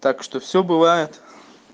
так что все бывает